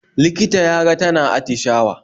Likita ya ga tana atishawa